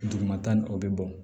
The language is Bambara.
Dugumata nin o be bɔn